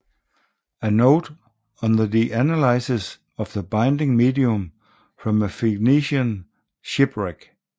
A Note on the Analysis of the Binding Medium from a Phoenician Shipwreck